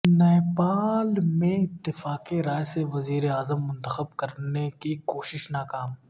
نیپال میں اتفاق رائے سے وزیر اعظم منتخب کرنے کی کوشش ناکام